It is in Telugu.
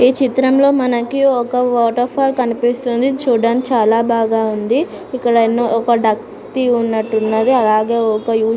ఈ చిత్రంలో మనకి ఒక వాటర్ ఫాల్ కనిపిస్తుంది చూడడానికి చాల బాగా ఉంది. ఇక్కడ ఎన్నో ఒక డక్ ఉన్నటు ఉన్నది. అలాగే ఒక --